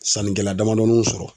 Sannikɛla damadɔninw sɔrɔ